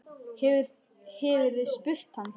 Hefurðu spurt hann?